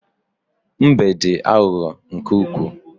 Mbe dị aghụghọ nke ukwuu.